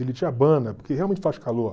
Ele te abana, porque realmente faz calor.